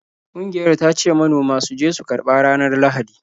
Ƙungiyar ta ce manoma su je su karba ranar Lahadi.